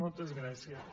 moltes gràcies